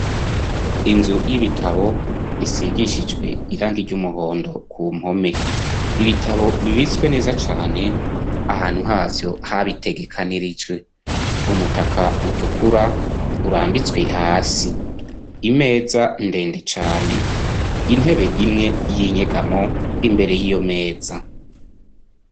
Inzu y'ibitabo isigishijwe irangi ry'umuhondo ku mpome, ibitabo bibitswe neza cane ahantu havyo habitegekanirijwe, umutaka utukura urambitswe hasi, imeza ndende cane, intebe imwe y'inyegamo imbere y'iyo meza.